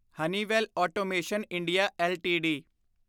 Honeywell automation India LTD